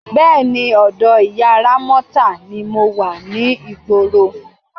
Bé̩è̩ni, ò̩dò̩ ìyá Rámó̩tà ni mo wa ní ìgboro.